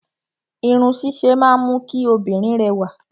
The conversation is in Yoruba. Irun ṣíṣe máa ń mú kí obìnrin rẹwà.